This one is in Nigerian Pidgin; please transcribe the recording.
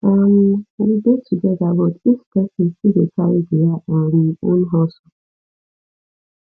um we dey together but each person still dey carry their um own hustle